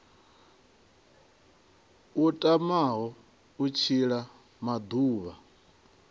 a tamaho u tshila maḓuvha